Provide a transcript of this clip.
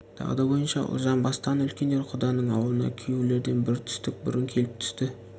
дағды бойынша ұлжан бастаған үлкендер құданың аулына күйеулерден бір түстік бұрын келіп түсті